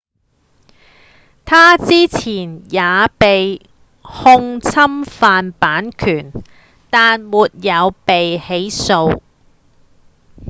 他之前也被控侵犯版權但沒有被起訴